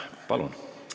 Palun!